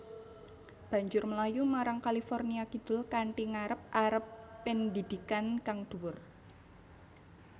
Banjur mlayu marang California kidul kanthi ngarep arep pendhidhikan kang dhuwur